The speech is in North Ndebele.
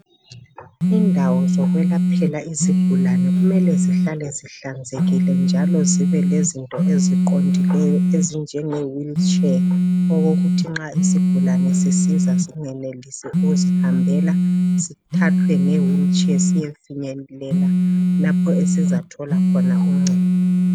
Indawo zokwelaphela izigulane kumele zihlale zihlanzekile njalo zibelezinto eziqondileyo ezinjenge wheelchair, okokuthi nxa isigulane sisiza singenelisi ukuzihambela, sithathwe ngewheelchair siyefinyelela lapho esizathola khona uncedo.